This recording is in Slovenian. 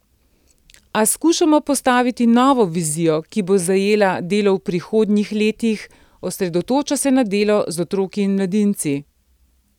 A skušamo postaviti novo vizijo, ki bo zajela delo v prihodnjih letih, osredotoča se na delo z otroki in mladinci.